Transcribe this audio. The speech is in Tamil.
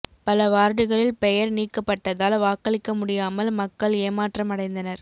பல வார்டுகளில் பெயர்கள் நீக்கப்பட்டதால் வாக்களிக்க முடியாமல் மக்கள் ஏமாற்றம் அடைந்தனர்